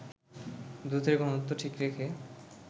দুধের ঘনত্ব ঠিক রেখে